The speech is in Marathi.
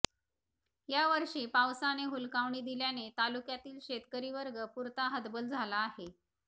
या वर्षी पावसाने हुलकावणी दिल्याने तालुक्यातील शेतकरी वर्ग पुरता हतबल झाला आहे